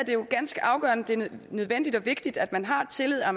jo ganske afgørende nødvendigt og vigtigt at man har tillid og